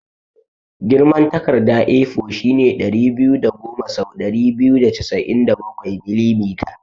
Girman takarda A4 shine ɗari biyu da goma sau ɗari biyu da casa'in da bakwai mm.